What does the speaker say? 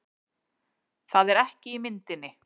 Það er ekki í myndinni